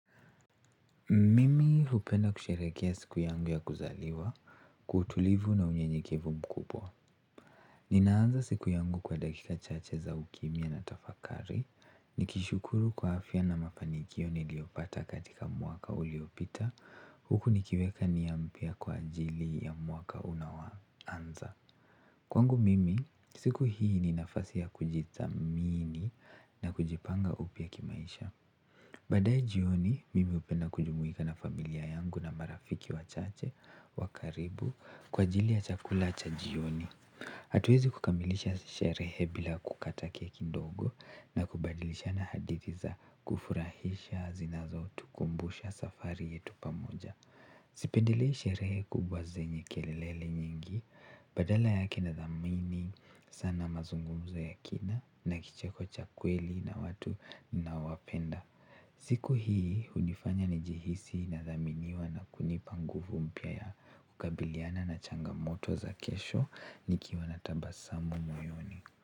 Mimi hupenda kusherekea siku yangu ya kuzaliwa, kwa utulivu na unyenyekevu mkubwa. Ninaanza siku yangu kwa dakika chache za ukimya na tafakari. Nikishukuru kwa afya na mafanikio niliopata katika mwaka uliopita. Huku nikiweka nia mpya kwa ajili ya meaka unaoanza. Kwangu mimi, siku hii ni nafasi ya kujithamini na kujipanga upya kimaisha. Baadae jioni, mimi hupenda kujumuika na familia yangu na marafiki wachache wakaribu kwa ajili ya chakula cha jioni. Hatuezi kukamilisha sherehe bila kukata keki ndogo na kubadilisha na hadithi za kufurahisha zinazotukumbusha safari yetu pamoja. Sipendelei sherehe kubwa zenye kelele nyingi, badala yake nadhamini, sana mazungumzo ya kina na kicheko cha kweli na watu naowapenda. Siku hii hunifanya nijihisi nadhaminiwa na kunipa nguvu mpya ya kukabiliana na changamoto za kesho nikiwa na tabasamu moyoni.